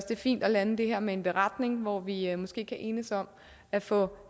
fint at lande det her med en beretning hvor vi måske kan enes om at få